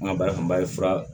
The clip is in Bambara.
N ka baara kun bɛ fura